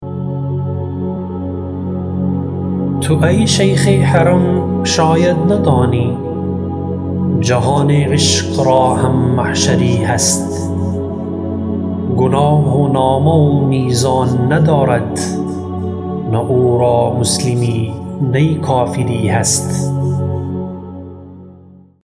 تو ای شیخ حرم شاید ندانی جهان عشق را هم محشری هست گناه و نامه و میزان ندارد نه او را مسلمی نی کافری هست